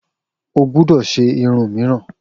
O gbúdọ̀ ṣe irun míìràn!